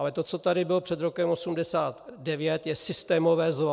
Ale to, co tady bylo před rokem 1989, je systémové zlo.